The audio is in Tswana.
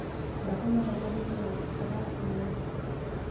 batsamayakadinao ga ba a tshwanela